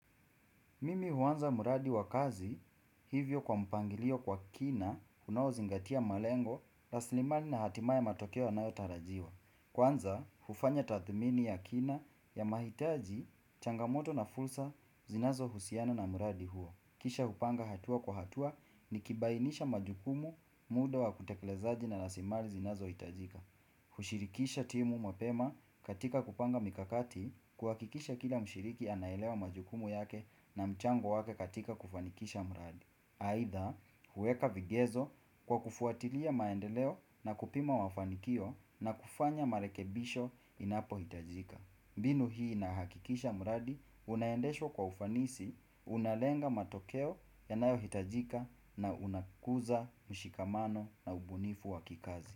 Mimi huanza mradi wakazi hivyo kwa mpangilio kwa kina unao zingatia malengo, raslimali na hatimaye matokeo yanayotarajiwa. Kwanza hufanya tathmini ya kina ya mahitaji changamoto na fursa zinazo husiana na mradi huo. Kisha hupanga hatua kwa hatua ni kibainisha majukumu muda wa kutekelezaji na rasilimali zinazo hitajika. Kushirikisha timu mapema katika kupanga mikakati kuhakikisha kila mshiriki anaelewa majukumu yake na mchango wake katika kufanikisha mradi aidha huweka vigezo kwa kufuatilia maendeleo na kupima mafanikio na kufanya marekebisho inapohitajika binu hii inahakikisha mradi unaendeshwa kwa ufanisi unalenga matokeo yanayohitajika na unakuza mshikamano na ubunifu wa kikazi.